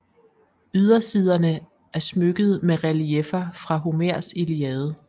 Ydersiderne er smykket med relieffer fra Homers Iliade